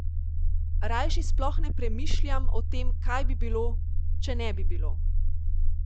Rajši sploh ne premišljam o tem, kaj bi bilo, če ne bi bilo.